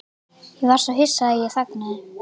Ég var svo hissa að ég þagnaði.